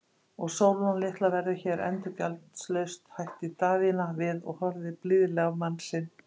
Og Sólrún litla verður hér endurgjaldslaust, bætti Daðína við og horfði blíðlega á mann sinn.